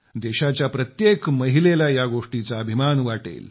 देशाच्या प्रत्येक महिलेला या गोष्टीचा अभिमान वाटेल